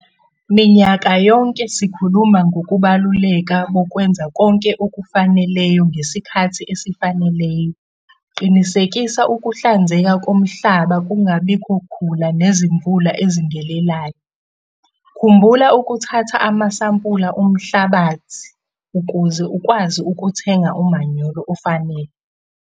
Minyaka yonke sikhululma ngokubaluleka bokwenza konke okufaneleyo ngesikhathi esifaneleyo - qinisekisa ukuhlanzeka komhlaba kungabikho khula nezimvula ezingelelayo. Khumbula ukuthatha amasampula omhlabathi ukuze ukwazi ukuthenga umanyolo ofanele.